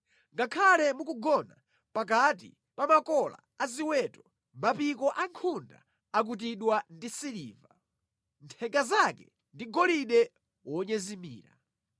Ngakhale mukugona pakati pa makola a ziweto, mapiko a nkhunda akutidwa ndi siliva, nthenga zake ndi golide wonyezimira.”